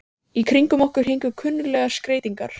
Í kringum okkur héngu kunnuglegar skreytingar.